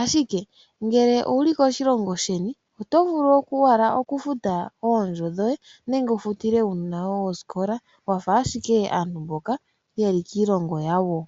Ashike ngele owu li koshilongo sheni oto vulu owala oku futa oondjo dhoye nenge wu futile uunona woye osikola wafa ashike aantu mboka ye li kiilongo yawo.